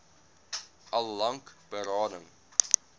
al lank berading